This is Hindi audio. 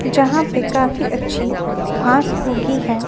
जहां पे काफी अच्छी घास उगी है।